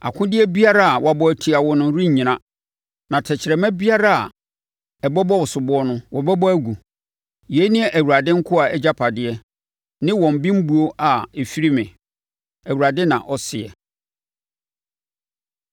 akodeɛ biara a wɔabɔ atia wo no rennyina na tɛkrɛma biara a ɛbɛbɔ wo soboɔ no, wobɛbɔ agu. Yei ne Awurade nkoa agyapadeɛ ne wɔn bembuo a ɛfiri me,” Awurade na ɔseɛ.